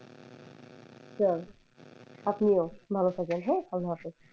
আচ্ছা আপনিও ভালো থাকবেন হ্যাঁ আলহামদুলিল্লা।